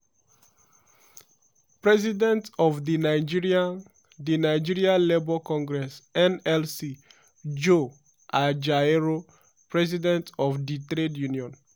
president of di nigeria di nigeria labour congress (nlc) joe ajaero president of di trade union